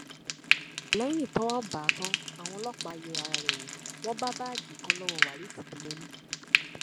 lẹyìn tọwọ bá a tan àwọn ọlọpàá yẹ ara rẹ wò wọn bá báàgì kan lọwọ waris ibíyemi